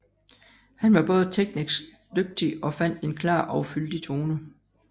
Han var både teknisk dygtig og fandt en klar og fyldig tone